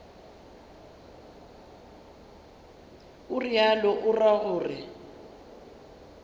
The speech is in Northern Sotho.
o realo o ra gore